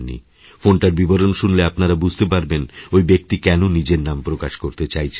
ফোনটার বিবরণ শুনলে আপনারা বুঝতে পারবেন ওই ব্যক্তি কেন নিজের নাম প্রকাশকরতে চাইছেন না